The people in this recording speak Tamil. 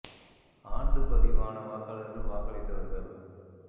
ஆண்டு பதிவான வாக்காளர்கள் வாக்களித்தவர்கள்